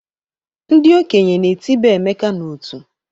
Ndị okenye na-etiba Emeka n'ọtú.